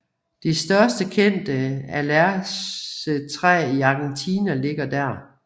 Det største kendte alercetræ i Argentina ligger der